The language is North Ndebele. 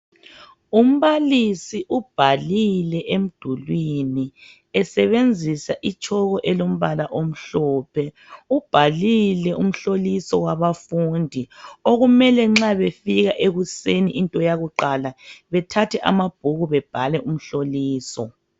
Umbalisi ubhalile emdulini esebenzisa itshoko elombala omhlophe ubhalile umhloliso wabafundiokumele nxa befika ekuseni into yakuqala bethathe amabhuku bebhale umhloliso.